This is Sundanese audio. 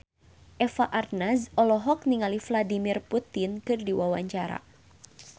Eva Arnaz olohok ningali Vladimir Putin keur diwawancara